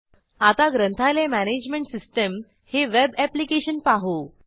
आता ग्रंथालय management system हे वेब ऍप्लिकेशन पाहू